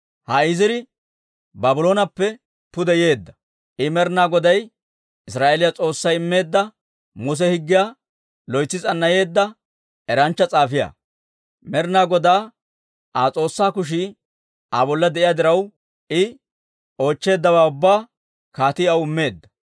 Ha Iziri Baablooneppe pude yeedda. I Med'ina Goday, Israa'eeliyaa S'oossay immeedda Muse Higgiyaa loytsi s'annayeedda eranchcha s'aafiyaa. Med'ina Godaa Aa S'oossaa kushii Aa bolla de'iyaa diraw, I oochcheeddawaa ubbaa kaatii aw immeedda.